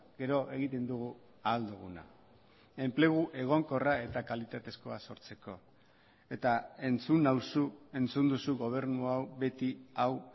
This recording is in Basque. gero egiten dugu ahal duguna enplegu egonkorra eta kalitatezkoa sortzeko eta entzun nauzu entzun duzu gobernu hau beti hau